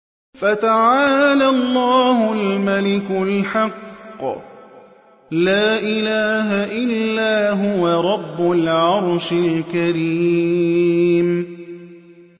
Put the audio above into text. فَتَعَالَى اللَّهُ الْمَلِكُ الْحَقُّ ۖ لَا إِلَٰهَ إِلَّا هُوَ رَبُّ الْعَرْشِ الْكَرِيمِ